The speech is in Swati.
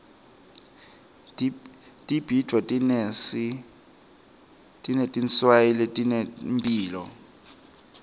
tibhidvo tinetinswayi letinemphilo